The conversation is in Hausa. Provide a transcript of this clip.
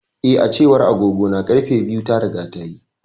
Eh, A cewar agogona, ƙarfe biyu ta riga tayi.